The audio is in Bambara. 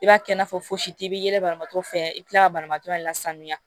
I b'a kɛ i n'a fɔ fosi bi yɛlɛmaton fɛ i bi kila ka banabaatɔ yɛrɛ la sanuya